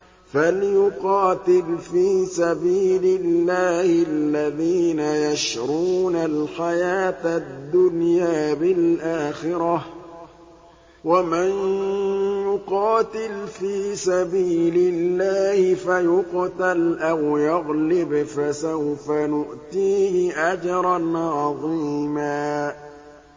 ۞ فَلْيُقَاتِلْ فِي سَبِيلِ اللَّهِ الَّذِينَ يَشْرُونَ الْحَيَاةَ الدُّنْيَا بِالْآخِرَةِ ۚ وَمَن يُقَاتِلْ فِي سَبِيلِ اللَّهِ فَيُقْتَلْ أَوْ يَغْلِبْ فَسَوْفَ نُؤْتِيهِ أَجْرًا عَظِيمًا